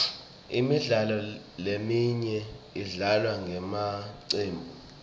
imidlalo leminyenti idlalwa ngemacembu